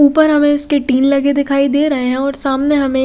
उपर हमे इसके टिन लगे दिखाई दे रहे है और सामने हमे--